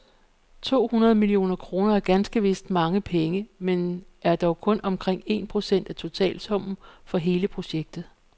To hundrede millioner kroner er ganske vist mange penge men er dog kun omkring en procent af totalsummen for hele projektet.